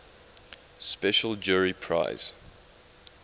special jury prize